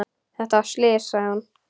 Þetta var slys, sagði hún.